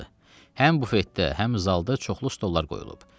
Həm bufetdə, həm zalda çoxlu stollar qoyulub.